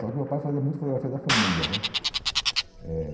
Só que meu pai fazia muito fotografia da família, né? Eh